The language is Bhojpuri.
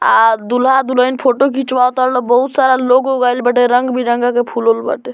आ दूल्हा-दुल्हन फोटो घिचवाता बहुत सारा लोग आइल बाटे रंग-बिरंगा के फूल उल बाटे।